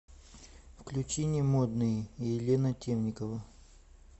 включи не модные елена темникова